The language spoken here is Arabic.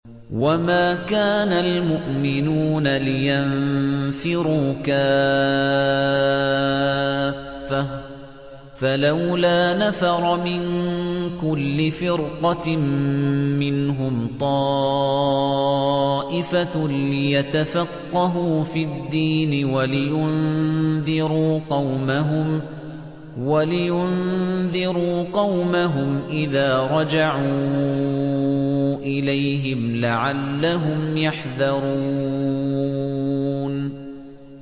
۞ وَمَا كَانَ الْمُؤْمِنُونَ لِيَنفِرُوا كَافَّةً ۚ فَلَوْلَا نَفَرَ مِن كُلِّ فِرْقَةٍ مِّنْهُمْ طَائِفَةٌ لِّيَتَفَقَّهُوا فِي الدِّينِ وَلِيُنذِرُوا قَوْمَهُمْ إِذَا رَجَعُوا إِلَيْهِمْ لَعَلَّهُمْ يَحْذَرُونَ